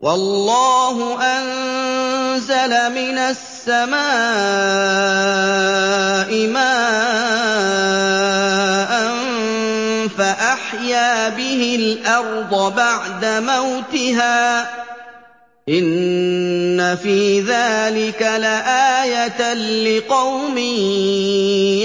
وَاللَّهُ أَنزَلَ مِنَ السَّمَاءِ مَاءً فَأَحْيَا بِهِ الْأَرْضَ بَعْدَ مَوْتِهَا ۚ إِنَّ فِي ذَٰلِكَ لَآيَةً لِّقَوْمٍ